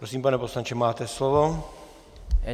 Prosím, pane poslanče, máte slovo.